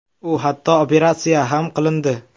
U hatto operatsiya ham qilindi.